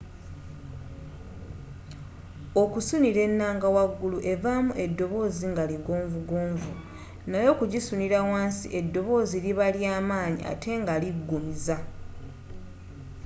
okusunira ennanga wagulu evaamu eddoboozi nga ligonvugonvu naye okugisunira wansi eddoboozi liba lya manyi atte nga liggumiza